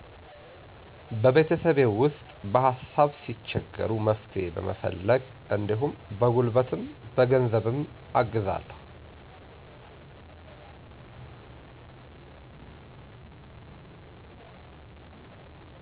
በቤተሰቤ ውስጥ በሀሳብ ሲቸገሩ መፍትሄ በመፈለግ እንዲሁም በጉልበትም በ ገንዘብም አግዛለሁ።